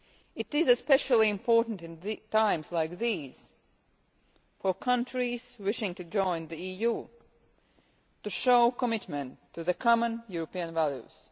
It is especially important at times like these for countries wishing to join the EU to show commitment to the common European values.